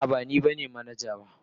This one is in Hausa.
A'a, ba ni manaja ba.